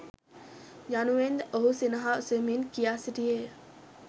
යනුවෙන්ද ඔහු සිනහසෙමින් කියා සිටියේය.